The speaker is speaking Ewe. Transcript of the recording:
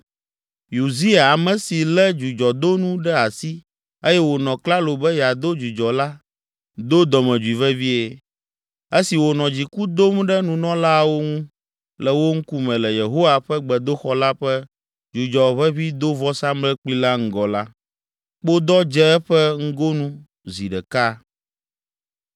Uzia, ame si lé dzudzɔdonu ɖe asi eye wònɔ klalo be yeado dzudzɔ la, do dɔmedzoe vevie. Esi wònɔ dziku dom ɖe nunɔlaawo ŋu, le wo ŋkume, le Yehowa ƒe gbedoxɔ la ƒe dzudzɔʋeʋĩdovɔsamlekpui la ŋgɔ la, kpodɔ dze eƒe ŋgonu zi ɖeka.